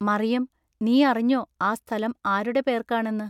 “മറിയം! നീയറിഞ്ഞൊ ആ സ്ഥലം ആരുടെ പേൎക്കാണെന്നു?